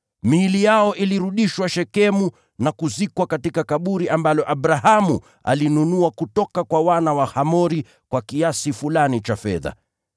Miili yao ilirudishwa Shekemu na kuzikwa katika kaburi ambalo Abrahamu alinunua kutoka kwa wana wa Hamori kwa kiasi fulani cha fedha.